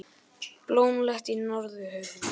Blómlegt í Norðurhöfum